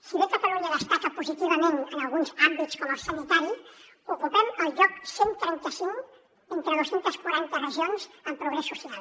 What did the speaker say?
si bé catalunya destaca positivament en alguns àmbits com el sanitari ocupem el lloc cent i trenta cinc entre dos cents i quaranta regions en progrés social